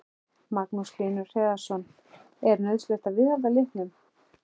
Magnús Hlynur Hreiðarsson: Er nauðsynlegt að viðhalda litunum?